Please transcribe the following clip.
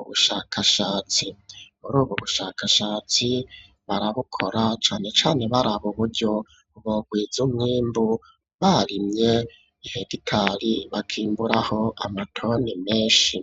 ubushakashatsi muri ubu bushakashatsi barabukora cane cane baraba uburyo burwiza umwimbu barimye iheditali bakimburaho amatoni menshi.